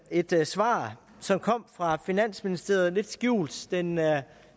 et svar som kom fra finansministeriet lidt skjult den